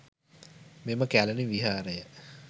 මෙම කැලණි විහාරය